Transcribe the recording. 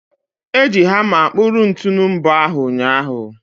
Eji hamma kpụrụ ntunu mbọ ahụ ụnyahụ.